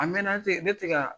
A mɛn na, ne tɛ se ka